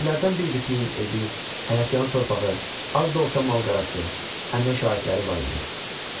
Kəndlilərdən bir qisminin evi, həyətyanı torpağı, az da olsa mal-qarası, əmək şairləri var idi.